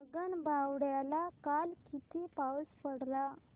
गगनबावड्याला काल किती पाऊस पडला